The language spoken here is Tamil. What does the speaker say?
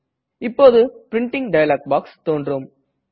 இப்போது பிரின்டிங் டயலாக் பாக்ஸ் தோன்றும்